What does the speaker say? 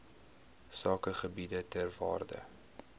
sakegebiede ter waarde